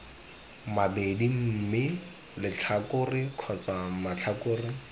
mabedi mme letlhakore kgotsa matlhakore